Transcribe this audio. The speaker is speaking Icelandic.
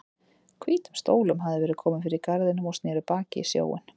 Hvítum stólum hafði verið komið fyrir í garðinum og sneru baki í sjóinn.